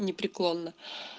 непреклонна